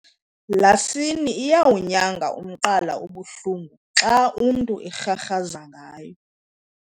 Iasini iyawunyanga umqala obuhlungu xa umntu erharhaza ngayo.